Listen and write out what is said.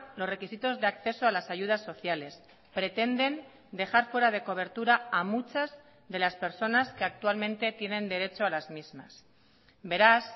los requisitos de acceso a las ayudas sociales pretenden dejar fuera de cobertura a muchas de las personas que actualmente tienen derecho a las mismas beraz